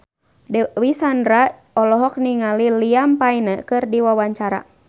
Dewi Sandra olohok ningali Liam Payne keur diwawancara